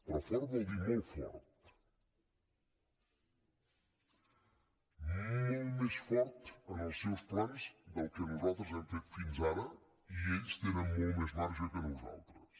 però fort vol dir molt fort molt més fort en els seus plans del que nosaltres hem fet fins ara i ells tenen molt més marge que nosaltres